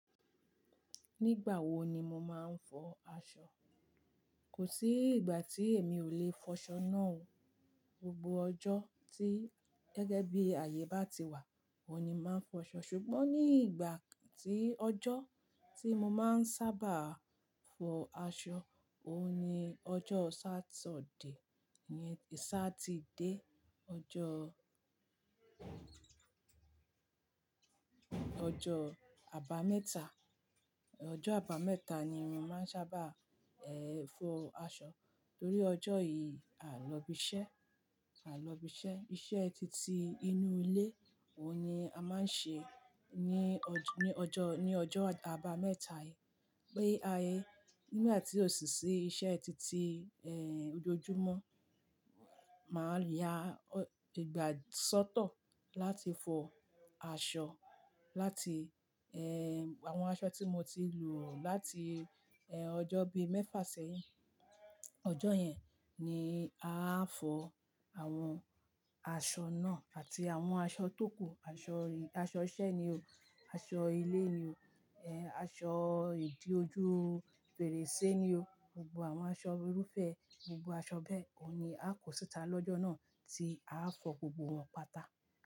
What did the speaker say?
Nígbà wo ni mo máa ń fọ aṣọ? Kò sí ìgbà tí èmi ò le fọ aṣọ náà o. Gbogbo ọjọ́ tí gẹ́gẹ́ bí ayé bá ti wà, oun ní máa ń fọ aṣọ. Ṣùgbọ́n ní ìgbà tí ọjọ́ tí mo máa ń sábà fọ aṣọ, òun ni ọjọ́ sátọ̀de, ní sáà tí dé, ọjọ́, ọjọ́ àbámẹ́ta, ọjọ́ àbámẹ́ta ni mo máa ń sábà fọ aṣọ. Torí ọjọ́ yìí à ń lọ ibi iṣẹ́, à lọ ibi iṣẹ́, iṣẹ́ titi inú ilé òun ni a máa ń ṣe ní ní ọjọ́, ní ọjọ́ àbámẹ́ta yẹ Bí a yẹ nígbà tí òṣìṣẹ́ iṣẹ́ titi ojoojúmọ́ máa ń ya ìgbà sọ́tọ̀ láti fọ aṣọ, láti àwọn aṣọ tí mo ti lò láti ọjọ́ bíi mẹ́fà sẹ́hín. Ọjọ́ yẹn ni a á fọ àwọn aṣọ náà àti àwọn aṣọ tókù, aṣọ aṣọ iṣẹ́ ni o, aṣọ ilé ni o, aṣọ ìdí ojú fèrèsé ni o. Gbogbo àwọn aṣọ irúfẹ́, gbogbo aṣọ bẹ́ẹ̀ òun ni a kò síta lọ́jọ́ náà tí a á fọ gbogbo wọn pátá.